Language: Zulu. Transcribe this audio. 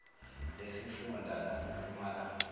lesifun da lasempumalanga